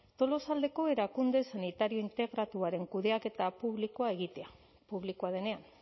tolosaldeko erakunde sanitario integratuaren kudeaketa publikoa egitea publikoa denean